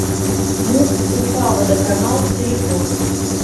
муп уфаводоканал телефон